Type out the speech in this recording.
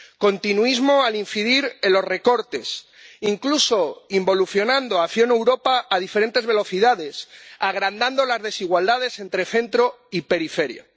Continuismo al incidir en los recortes, incluso involucionando hacia una Europa a diferentes velocidades, agrandando las desigualdades entre centro y periferia.